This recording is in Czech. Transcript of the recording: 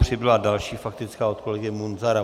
Přibyla další faktická od kolegy Munzara.